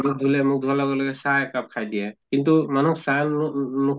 মুখ ধুলে, মুখ ধোৱাৰ লগে লগে চাহ একাপ খাই দিয়ে। কিন্তু মানুহ চাহনুনু